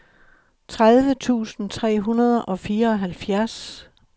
tredive tusind tre hundrede og fireoghalvfjerds